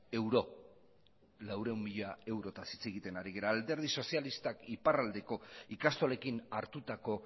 eurotaz hitz egiten ari gara alderdi sozialistak iparraldeko ikastolekin hartutako